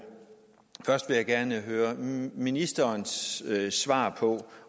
først gerne høre ministerens svar på